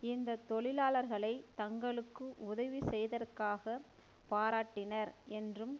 இந்த தொழிலாளர்களை தங்களுக்கு உதவி செய்தற்காக பாராட்டினர் என்றும்